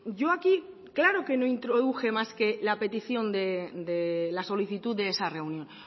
yo aquí claro que no introduje más que la petición de la solicitud de esa reunión